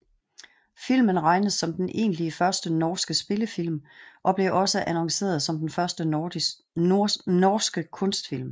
Filmen regnes som den egentlig første norske spillefilm og blev også annonceret som Den første norske kunstfilm